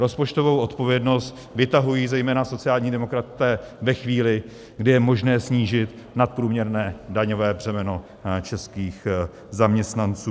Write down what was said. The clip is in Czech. Rozpočtovou odpovědnost vytahují zejména sociální demokraté ve chvíli, kdy je možné snížit nadprůměrné daňové břemeno českých zaměstnanců.